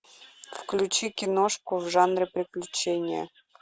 включи киношку в жанре приключения